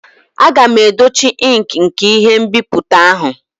A ga-edochi ink nke ihe nbipute ahụ.